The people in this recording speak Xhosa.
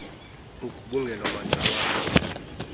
ugubungelo maxa wambi